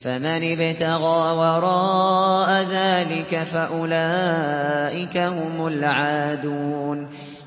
فَمَنِ ابْتَغَىٰ وَرَاءَ ذَٰلِكَ فَأُولَٰئِكَ هُمُ الْعَادُونَ